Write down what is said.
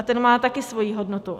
A ten má také svoji hodnotu.